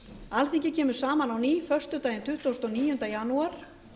alþingi kemur saman á ný föstudaginn tuttugasta og níunda janúar